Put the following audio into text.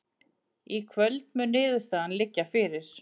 Í kvöld mun niðurstaðan liggja fyrir